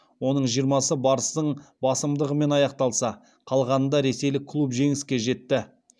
оның жиырмасы барыстың басымдығымен аяқталса қалғанында ресейлік клуб жеңіске жетті